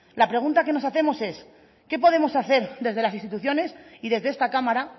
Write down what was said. la pregunta que nos hacemos es qué podemos hacer desde las instituciones y desde esta cámara